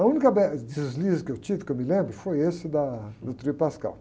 A única, deslize que eu tive, que eu me lembro, foi esse da, do tríduo pascal.